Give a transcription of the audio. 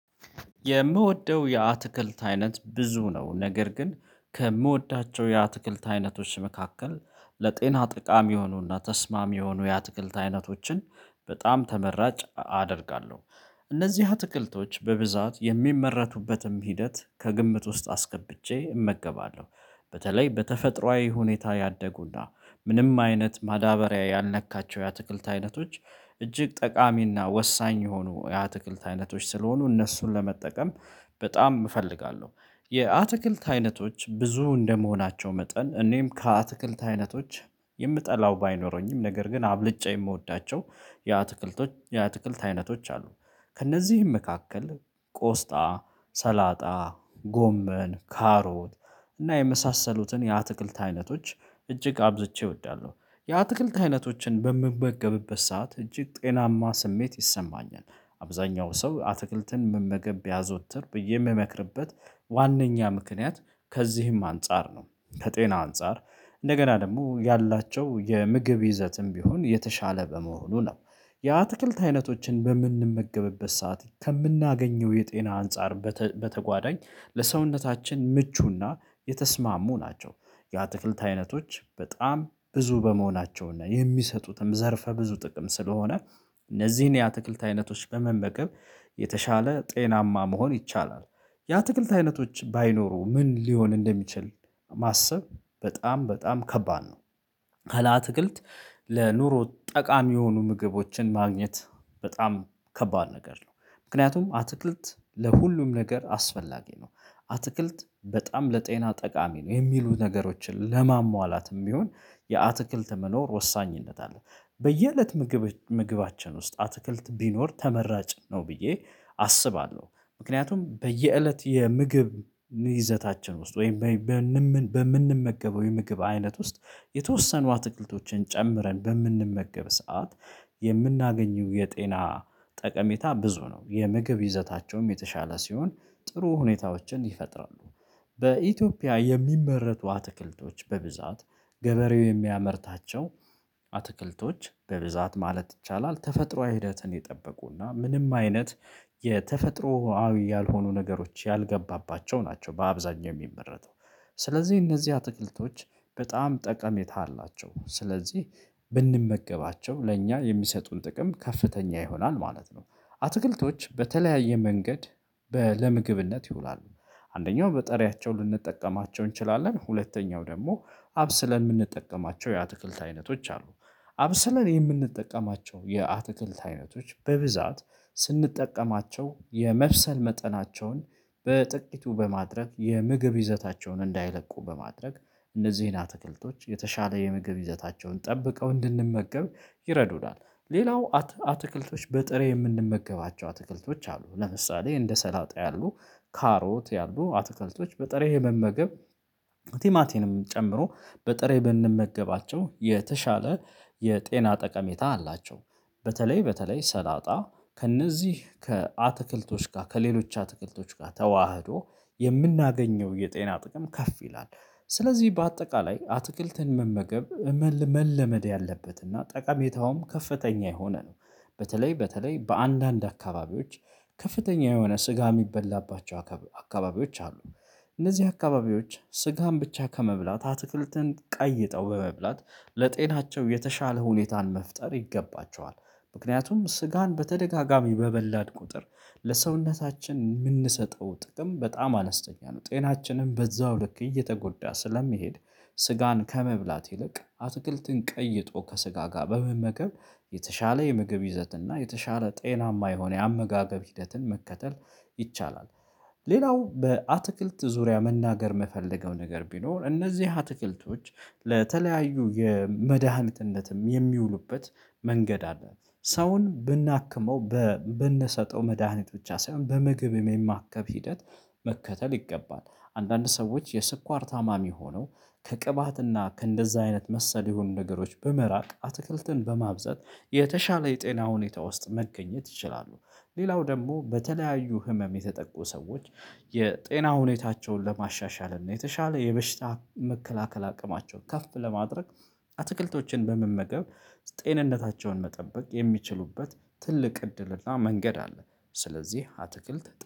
የምወደው የአትክልት አይነት ብዙ ነው ነገር ግን ከምወዳቸው የአትክልት አይነቶች መካከል ለጤና ጠቃሚ የሆኑና ተስማሚ የሆኑ የአትክልት አይነቶችን በጣም ተመራጭ አደርጋለሁ። እነዚህ አትክልቶች በብዛት የሚመረቱበትን ሂደት ከግምት ውስጥ አስገብቼ እመገባለሁ። በተለይ በተፈጥሮአዊ ሁኔታ ያደጉና ምንም አይነት ማዳበሪያ ያልነካቸው የአትክልት አይነቶች እጅግ ጠቃሚና ወሳኝ የሆኑ የአትክልት አይነቶች ስለሆኑ እነሱን ለመጠቀም በጣም እፈልጋለሁ። የአትክልት አይነቶች ብዙ እንደመሆናቸው መጠን እኔም ከአትክልት አይነቶች የምጠላው ባይኖረኝም ነገር ግን አብልጬ የምወዳቸው የአትክልት አይነቶች አሉ። ከእነዚህም መካከል ቆስጣ ሰላጣ ጎመን ካሮት እና የመሳሰሉትን የአትክልት አይነቶች እጅግ አብዝቼ እወዳለሁ። የአትክልት አይነቶችን በምበገብበት ሰዓት እጅግ ጤናማ ስሜት ይሰማኛል። አብዛኛው ሰው አትክልትን መመገብ ቢያዘወትር ብዬ የምመክርበት ዋናኛ ምክንያት ከዚህም አንፃር ነው ከጤና አንፃር እንደገና ደግሞ ያላቸው የምግብ ይዘትም ቢሆን የተሻለ በመሆኑ ነው። የአትክልት አይነቶችን በምንመገብበት ሰዓት ከምናገኘው የጤና አንፃር በተጓዳኝ ለሰውነታችን ምቹና የተስማሙ ናቸው። የአትክልት አይነቶች በጣም ብዙ በመሆናቸውና የሚሰጡትም ዘርፈ ብዙ ጥቅም ስለሆነ። እነዚህን የአትክልት አይነቶች በመመቀብ የተሻለ ጤናማ መሆን ይቻላል። የአትክልት አይነቶች ባይኖሩ ምን ሊሆን እንደሚችል ማሰብ በጣም በጣም ከባድ ነው። ካለ አትክልት ለኑሮ ጠቃሚ የሆኑ ምግቦችን ማግኘት በጣም ከባድ ነገር ነው። ምክንያቱም አትክልት ለሁሉም ነገር አስፈላጊ ነው። አትክልት በጣም ለጤና ጠቃሚ ነው የሚሉ ነገሮችን ለማሟላትም ቢሆን የአትክልት መኖር ወሳኝነት አለ። በየእለት ምግብ ምግባችን ውስጥ አትክልት ቢኖር ተመራጭ ነው ብዬ አስባለሁ። ምክንያቱም በየእለት የምግብ ይዘታችን ውስጥ ወይም በምንመገበው የምግብ አይነት ውስጥ የተወሰኑ አትክልቶችን ጨምረን በምንመገብ ሰዓት። የምናገኘው የጤና ጠቀሜታ ብዙ ነው የምግብ ይዘታቸውም የተሻለ ሲሆን ጥሩ ሁኔታዎችን ይፈጥራሉ። በኢትዮጵያ የሚመረቱ አትክልቶች በብዛት ገበሬው የሚያመርታቸው አትክልቶች በብዛት ማለት ይቻላል ተፈጥሮአዊ ሂደትን የጠበቁና ምንም አይነት የተፈጥሮአዊ ያልሆኑ ነገሮች ያልገባባቸው ናቸው። በአብዛኛው የሚመረተው ስለዚህ እነዚህ አትክልቶች በጣም ጠቀሜታ አላቸው። ስለዚህ ብንመገባቸው ለእኛ የሚሰጡን ጥቅም ከፍተኛ ይሆናል ማለት ነው። አትክልቶች በተለያየ መንገድ ለምግብነት ይውላሉ። አንደኛው በጠሪያቸው ልንጠቀማቸው እንችላለን ሁለተኛው ደግሞ አብስለን የምንጠቀማቸው የአትክልት አይነቶች አሉ። አብስለን የምንጠቀማቸው የአትክልት አይነቶች በብዛት ስንጠቀማቸው የመብሰል መጠናቸውን በጥቂቱ በማድረግ የምግብ ይዘታቸውን እንዳይለቁ በማድረግ እነዚህን አትክልቶች የተሻለ የምግብ ይዘታቸውን ጠብቀው እንድንመገብ ይረዱናል። ሌላው አትክልቶች በጥሬ የምንመገባቸው አትክልቶች አሉ። ለምሳሌ እንደ ሰላጣ ያሉ ካሮት ያሉ አትክልቶች በጥሬ የመመገብ ቴማቴምን ጨምሮ በጥሬ ብንመገባቸው የተሻለ የጤና ጠቀሜታ አላቸው። በተለይ በተለይ ሰላጣ ከእነዚህ ከአትክልቶች ጋር ከሌሎች አትክልቶች ጋር ተዋህዶ የምናገኘው የጤና ጥቅም ከፍ ይላል። ስለዚህ በአጠቃላይ አትክልትን መመገብ መለመድ ያለበትና ጠቃሚታውም ከፍተኛ የሆነ ነው። በተለይ በተለይ በአንዳንድ አካባቢዎች ከፍተኛ የሆነ ስጋ የሚበላባቸው አካባቢዎች አሉ። እነዚህ አካባቢዎች ስጋን ብቻ ከመብላት አትክልትን ቀይጠው በመብላት ለጤናቸው የተሻለ ሁኔታን መፍጠር ይገባቸዋል። ምክንያቱም ስጋን በተደጋጋሚ በበላን ቁጥር ለሰውነታችን የምንሰጠው ጥቅም በጣም አነስተኛ ነው ጤናችንም በዛው ልክ እየተጎዳ ስለሚሄድ። ስጋን ከመብላት ይልቅ አትክልትን ቀይጦ ከስጋ ጋር በመመከብ የተሻለ የምግብ ይዘት እና የተሻለ ጤናማ የሆነ የአመጋገብ ሂደትን መከተል ይቻላል። ሌላው በአትክልት ዙሪያ መናገር የምፈልገው ነገር ቢኖር እነዚህ አትክልቶች ለተለያዩ የመድኃኒትነትም የሚውሉበት መንገድ አለ። ሰውን ብናክመው በምንሰጠው መድሃኒት ብቻ ሳይሆን በምግብም የማከም ሂደት መከተል ይገባል። አንዳንድ ሰዎች የስኳር ታማሚ ሆነው ከቅባትና ከእንደዛ አይነት መሰለ የሆኑ ነገሮች በመራቅ አትክልትን በማብዛት የተሻለ የጤና ሁኔታ ውስጥ መገኘት ይችላሉ። ሌላው ደግሞ በተለያዩ ህመም የተጠቁ ሰዎች የጤና ሁኔታቸውን ለማሻሻል እና የተሻለ የበሽታ መከላከል አቅማቸውን ከፍ ለማድረግ አትክልቶችን በመመገብ ጤንነታቸውን መጠበቅ የሚችሉበት ትልቅ እድልና መንገድ አለ። ስለዚህ አትክልት